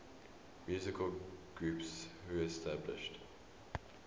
musical groups reestablished